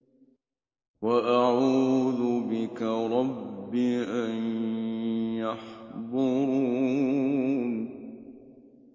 وَأَعُوذُ بِكَ رَبِّ أَن يَحْضُرُونِ